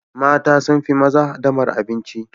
Mata sun fi maza haɗamar abinci.